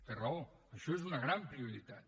té raó això és una gran prioritat